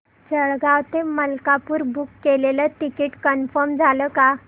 जळगाव ते मलकापुर बुक केलेलं ticket confirm झालं का